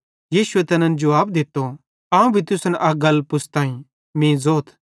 यीशु तैन जुवाब दित्तो अवं भी तुसन अक गल पुछ़तईं मीं ज़ोथ